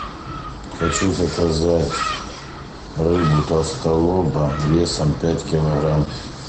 хочу заказать рыбу толстолоба весом пять килограмм